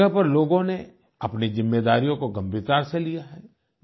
कई जगह पर लोगों ने अपनी जिम्मेदारियों को गंभीरता से लिया है